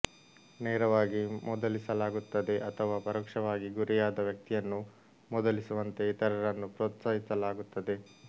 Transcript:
ನೇರವಾಗಿ ಮೂದಲಿಸಲಾಗುತ್ತದೆ ಅಥವಾ ಪರೋಕ್ಷವಾಗಿ ಗುರಿಯಾದ ವ್ಯಕ್ತಿಯನ್ನು ಮೂದಲಿಸುವಂತೆ ಇತರರನ್ನು ಪ್ರೋತ್ಸಾಹಿಸಲಾಗುತ್ತದೆ